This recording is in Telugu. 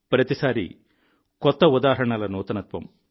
ప్రతిసారీ కొత్త ఉదాహరణల నూతనత్వం